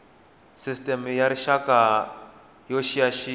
sisteme ya rixaka yo xiyaxiya